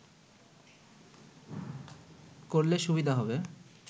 করলে সুবিধা হবে